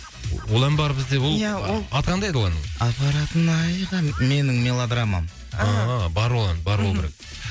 ол ән бар бізде ол ия ол аты қандай еді ол әннің апаратын айға менің мелодрамам аха бар ол бар болу керек